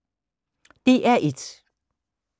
DR1